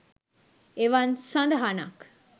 එවන් සදහනක්